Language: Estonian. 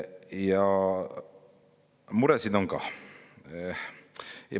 Ja muresid on ka.